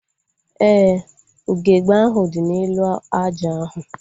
Éè, ugegbe ahu dị n'elu aja ahu